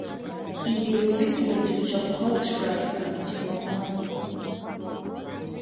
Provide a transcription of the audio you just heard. e dey sweet me to chop hot rice and stew for morning.